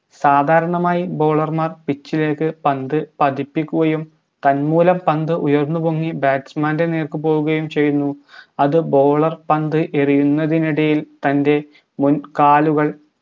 സാധാരണമായി bowler മാർ pitch ലേക്ക് പന്ത് പതിപ്പിക്കുകയും തന്മൂലം പന്ത് ഉയർന്നുപൊങ്ങി batsman നേർക്ക് പോകുകയും ചെയ്യുന്നു അത് bowler പന്ത് എറിയുന്നതിനിടയിൽ തൻറെ മുൻകാലുകൾ